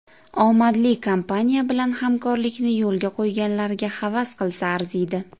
Omadli kompaniya bilan hamkorlikni yo‘lga qo‘yganlarga havas qilsa arziydi.